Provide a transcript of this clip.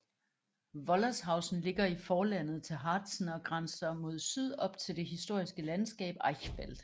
Wollershausen ligger i forlandet til Harzen og grænser mod syd op til det historiske landskab Eichsfeld